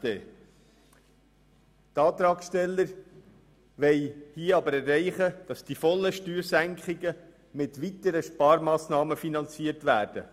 Die Antragssteller wollen hier jedoch erreichen, dass die vollen Steuersenkungen mit weiteren Sparmassnahmen finanziert werden.